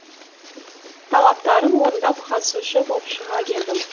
талаптарын орындап қатысушы боп шыға келдім